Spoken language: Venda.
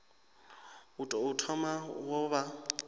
u tou thoma wo vha